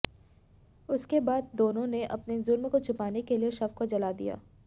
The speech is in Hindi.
उसके बाद दोनों ने अपने जुर्म को छिपाने के लिए शव को जला दिया